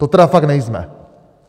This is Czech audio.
To tedy fakt nejsme.